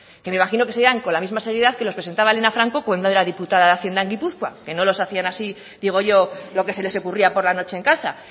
que me imagino que seguirán con la misma seriedad que los presentaba helena franco cuando era diputada de hacienda en gipuzkoa que no los hacían así digo yo lo que se les ocurría por la noche en casa